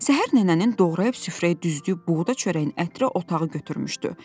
Səhər nənənin doğrayıb süfrəyə düzdüyü buğda çörəyinin ətri otağı götürmüşdü.